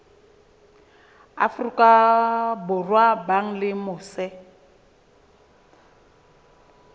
afrika borwa ba leng mose